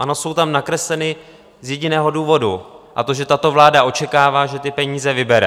Ano, jsou tam nakresleny - z jediného důvodu, a to že tato vláda očekává, že ty peníze vybere.